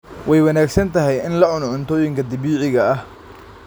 Way wanaagsan tahay in la cuno cuntooyinka dabiiciga ah.